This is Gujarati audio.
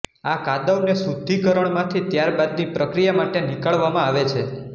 આ કાદવને શુદ્ધીકરણમાંથી ત્યારબાદની પ્રક્રિયા માટે નિકાળવામાં આવે છે